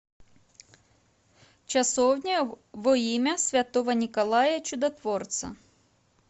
часовня во имя святого николая чудотворца